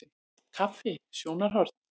Kaffi- sjónarhorn.